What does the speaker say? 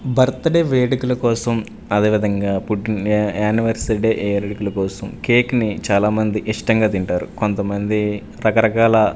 birthday వేడుకల కోసం అదే విధంగా పుట్టిన యా యానివర్సరీ డే వేడుకల కోసం కేక్ ని చాలామంది ఇష్టంగా తింటారు కొంతమంది రకరకాల--